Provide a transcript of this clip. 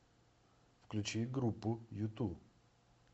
включи группу юту